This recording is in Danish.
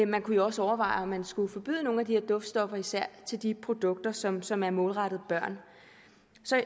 man kunne jo også overveje om man skulle forbyde nogle af de her duftstoffer især i de produkter som som er målrettet børn